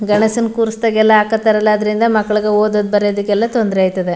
ಗಣೇಶನ್ ಕೂರ್ಸಿದಾಗೆಲ್ಲ ಆಕತರ ಅಲ್ಲ ಅದ್ರಿಂದ ಮಕ್ಕಳಗಾ ಓದೋದ್ ಬರೆಯೋದಕ್ಕೆಲ್ಲ ತೊಂದ್ರೆ ಅಯ್ತದೆ.